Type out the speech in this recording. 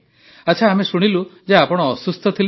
ଆଚ୍ଛା ଆମେ ଶୁଣିଲୁ ଯେ ଆପଣ ଅସୁସ୍ଥ ଥିଲେ